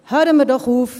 Hören wir doch auf!